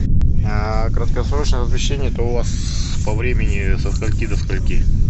а краткосрочное размещение это у вас по времени со скольки до скольки